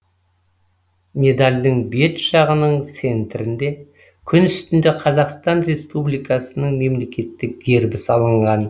медальдің бет жағының центрінде күн үстінде қазақстан республикасының мемлекеттік гербі салынған